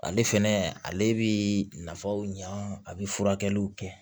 Ale fɛnɛ ale bɛ nafaw ɲa a bɛ furakɛliw kɛ